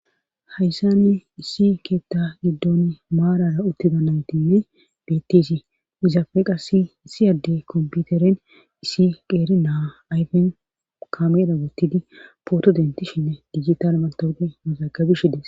Hayssane issi keetta giddon maarara uttida naytinne bettesi izafeqa issi adde kompiuteren issi qeeri naa ayfen kameera gottidi pooto dentishinne digital matawuge mazagabishides.